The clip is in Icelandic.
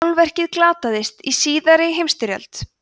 málverkið glataðist í síðari heimsstyrjöld